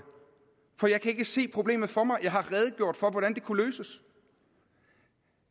for jeg kan ikke se problemet for mig jeg har redegjort for hvordan det kunne løses